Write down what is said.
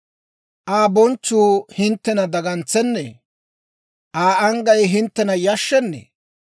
Aa bonchchuu hinttena dagantsennee? Aa anggay hinttena yashshennee?